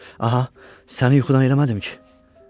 Aha, səni yuxudan eləmədim ki?